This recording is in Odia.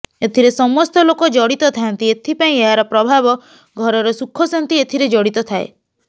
ଏଥିରେ ସମସ୍ତ ଲୋକ ଜଡ଼ିତ ଥାଆନ୍ତି ଏଥିପାଇଁ ଏହାର ପ୍ରଭାବ ଘରର ଶୁଖ ଶାନ୍ତି ଏଥିରେ ଜଡ଼ିତ ଥାଏ